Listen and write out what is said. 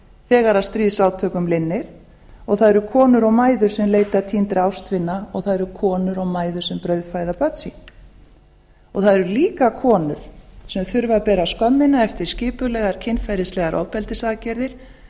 þegar stríðsátökum linnir og það eru konur og mæður sem leita týndra ástvina og það eru konur og mæður sem brauðfæða börn það eru líka konur sem þurfa að bera skömmina eftir skipulegar kynferðislegar ofbeldisaðgerðir